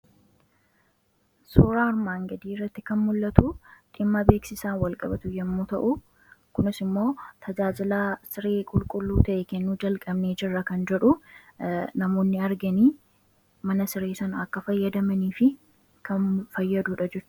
suuraa armaan gadii irratti kan mul'atu dhimma beeksisaa walqabatu yommuu ta'u kunis immoo tajaajilaa siree qulqulluu ta'e kennu jalqabnee jirra kan jedhu namoonni arganii mana siree san akka fayyadamanii fi kan fayyaduudha jechuudha.